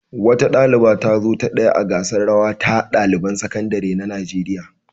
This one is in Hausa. Wata ɗaliba ta zo ta ɗaya a gasar rawa ta ɗaliban sakandare na Najeriya.